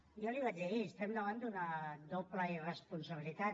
jo li ho vaig dir ahir estem davant d’una doble irresponsabilitat